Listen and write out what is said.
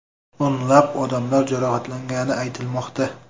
O‘nlab odamlar jarohatlangani aytilmoqda.